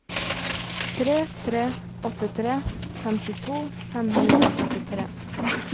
tre tre åtte tre femtito fem hundre og førtitre